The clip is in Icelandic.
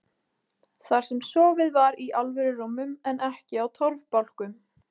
Þar sem sofið var í alvöru rúmum en ekki á torfbálkum.